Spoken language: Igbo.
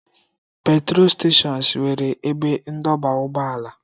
Petrol steshọns nwere ebe ndọba ụgbọala.